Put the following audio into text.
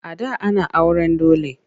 A da ana auren dole.